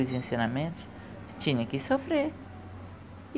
Os ensinamentos, tinha que sofrer.